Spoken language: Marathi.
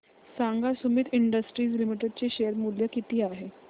सांगा सुमीत इंडस्ट्रीज लिमिटेड चे शेअर मूल्य किती आहे